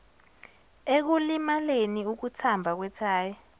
ekulimaleni ukuthamba kwethayi